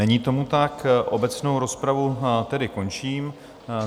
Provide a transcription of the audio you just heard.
Není tomu tak, obecnou rozpravu tedy končím.